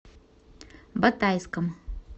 батайском